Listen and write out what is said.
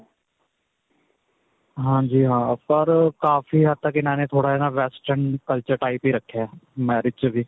ਹਾਂਜੀ ਹਾਂ ਪਰ ਕਾਫੀ ਹੱਦ ਤੱਕ ਇਨ੍ਹਾਂ ਨੇ ਨਾਂ ਥੋੜਾ ਜਿਹਾ ਨਾਂ western culture type ਹੀ ਰੱਖਿਆ marriage 'ਚ ਵੀ.